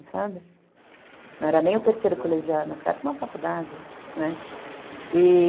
Não era nem o terceiro colegial, mas era uma faculdade, né.